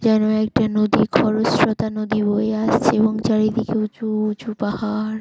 যেন একটা নদীর খরস্রোতা নদী বয়ে আসছে চারিদিকে উঁচু উঁচু পাহাড়।